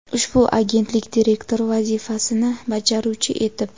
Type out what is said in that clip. ushbu agentlik direktori vazifasini bajaruvchi etib;.